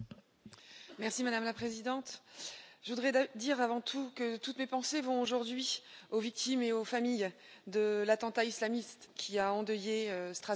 Madame la Présidente, je voudrais dire avant tout que toutes mes pensées vont aujourd'hui aux victimes, et à leurs familles, de l'attentat islamiste qui a endeuillé Strasbourg hier soir.